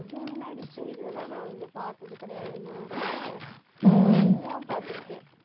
அசீம் நடிச்ச இதெல்லாம் வந்து நான் பாத்தது கிடையாது இன்ன வரை, இதுதான் பாத்திருக்கேன்